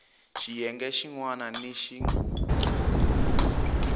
xiyenge xin wana ni xin